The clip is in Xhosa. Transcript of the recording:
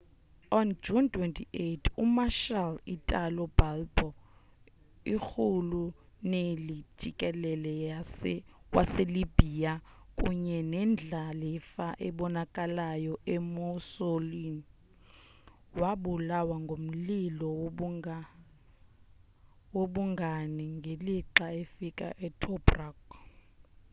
on june 28 umarshal italo balbo irhuluneli-jikelele waselibya kunye nendlalifa ebonakalayo emuseolini wabulawa ngumlilo wobungani ngelixa efike tobruk